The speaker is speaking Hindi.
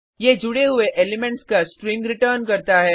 ये जुडे हुए एलिमेंट्स का स्ट्रिंग रिटर्न करता है